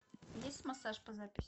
есть массаж по записи